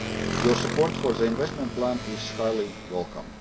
Your support for the investment plan is highly welcome.